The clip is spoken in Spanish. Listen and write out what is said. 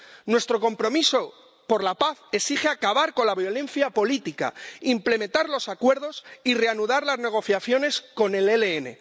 Nuestro compromiso por la paz exige acabar con la violencia política, implementar los acuerdos y reanudar las negociaciones con el ELN.